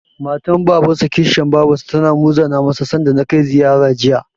Matar Babansa/Kishiyar Babarsa tana muzana masa, sanda na kai ziyara, Jiya.